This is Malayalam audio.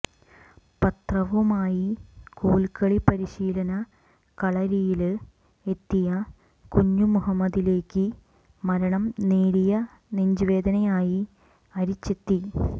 പത്രവുമായി കോല്ക്കളി പരിശീലന ക്കളരിയില് എത്തിയ കുഞ്ഞുമുഹമ്മദിലേക്ക് മരണം നേരിയ നെഞ്ചുവേദനയായി അരിച്ചെത്തി